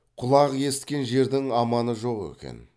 құлақ есіткен жердің аманы жоқ екен